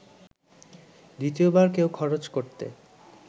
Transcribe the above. দ্বিতীয়বার কেউ খরচ করতে